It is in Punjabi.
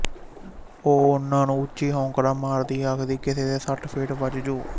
ਉਹ ਉਹਨਾਂ ਨੂੰ ਉੱਚੀ ਹੋਕਰਾ ਮਾਰਦੀ ਆਖਦੀ ਕਿਸੇ ਦੇ ਸੱਟ ਫੇਟ ਵੱਜਜੂ